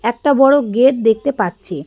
একটা বড় গেট দেখতে পাচ্ছি।